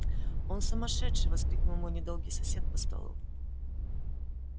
он сумасшедший воскликнул мой недолгий сосед по столу